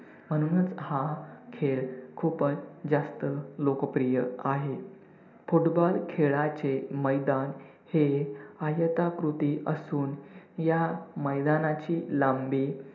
म्हणूनच हा खेळ खूपच जास्त लोकप्रियआहे. football खेळाचे मैदान हे आयताकृती असून ह्या मैदानाची लांबी